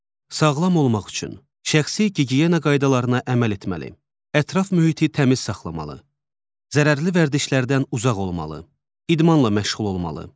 Sağlam olmaq üçün şəxsi gigiyena qaydalarına əməl etməli, ətraf mühiti təmiz saxlamalı, zərərli vərdişlərdən uzaq olmalı, idmanla məşğul olmalı.